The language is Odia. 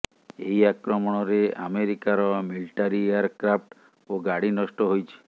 ଏହି ଆକ୍ରମଣରେ ଆମେରିକାର ମିଲିଟାରୀ ଏୟାରକ୍ରାଫ୍ଟ ଓ ଗାଡ଼ି ନଷ୍ଟ ହୋଇଛି